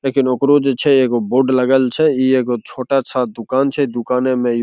लेकिन ओकरो जे छै एगो बोर्ड लगल छै इ एगो छोटा-सा दुकान छै दुकाने मे इ --